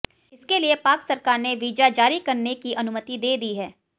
इसके लिए पाक सरकार ने वीजा जारी करने की अनुमति दे दी है